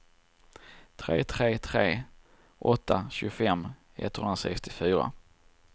tre tre tre åtta tjugofem etthundrasextiofyra